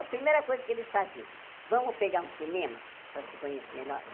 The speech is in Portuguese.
A primeira coisa que eles faziam, vamos pegar um cinema para se conhecer melhor?